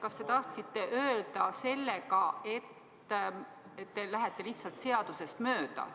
Kas te tahtsite sellega öelda, et te lähete lihtsalt seadusest mööda?